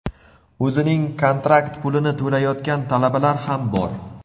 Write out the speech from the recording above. o‘zining kontrakt pulini to‘layotgan talabalar ham bor.